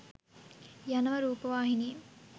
යනව රූපවාහිනියෙ